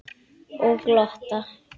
Og glotta.